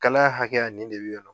Kalan hakɛya, nin de bi yan.